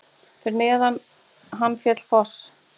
Fyrir neðan hann féll foss.